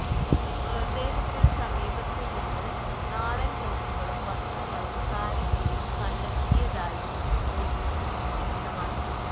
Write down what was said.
മൃതദേഹത്തിനു സമീപത്തു നിന്ന് നാടന് തോക്കുകളും വസ്ത്രങ്ങളും കാരക്കയും കണ്ടെത്തിയതായും പൊലിസ് വ്യക്തമാക്കി